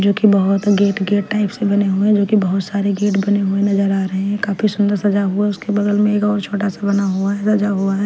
जो कि बहुत गेट गेट टाइप से बने हुए हैं जो कि बहुत सारे गेट बने हुए नजर आ रहे हैं काफी सुंदर सजा हुआ है उसके बगल में एक और छोटा सा बना हुआ है सजा हुआ है .